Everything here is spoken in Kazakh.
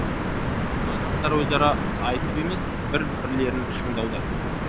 мұнда жастар өзара сайысып емес бір бірлерін шыңдауда